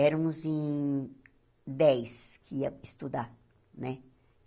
Éramos em dez que ia estudar, né?